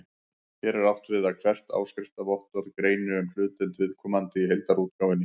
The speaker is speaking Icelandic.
Hér er átt við að hvert áskriftarvottorð greini um hlutdeild viðkomandi í heildarútgáfunni.